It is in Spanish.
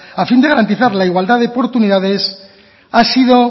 a fin de garantizar la igualdad de oportunidades ha sido